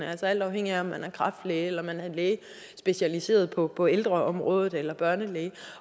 altså alt afhængigt af om man er kræftlæge eller læge specialiseret på på ældreområdet eller børnelæge